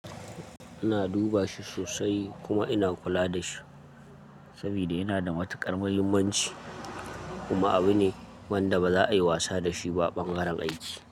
Ina duba shi sosai kuma ina kula da shi saboda yana da matuƙar muhimmanci kuma abu ne wanda ba za a yi wasa da shi ba ɓangaren aiki.